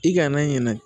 I kana ɲinɛ